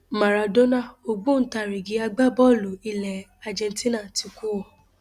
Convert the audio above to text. máràdónà ògbóǹtarìgì agbábọọlù ilẹ argentina ti kú o